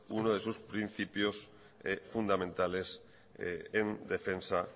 uno de sus principios fundamentales en defensa